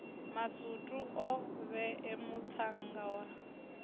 masutu o vhae muṱhannga wa